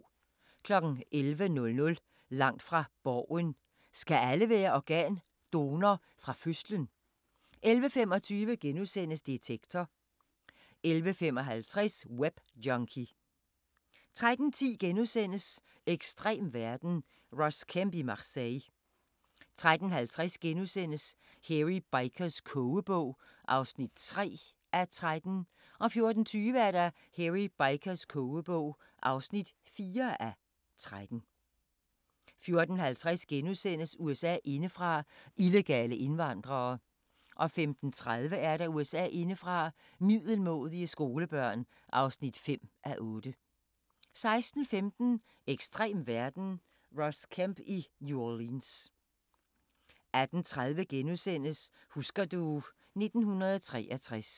11:00: Langt fra Borgen: Skal alle være organdonor fra fødslen? 11:25: Detektor * 11:55: Webjunkie 13:10: Ekstrem verden – Ross Kemp i Marseille * 13:50: Hairy Bikers kogebog (3:13)* 14:20: Hairy Bikers kogebog (4:13) 14:50: USA indefra: Illegale indvandrere (4:8)* 15:30: USA indefra: Middelmådige skolebørn (5:8) 16:15: Ekstrem verden – Ross Kemp i New Orleans 18:30: Husker du... 1963 *